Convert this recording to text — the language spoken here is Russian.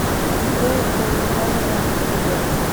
ип корлыханова тг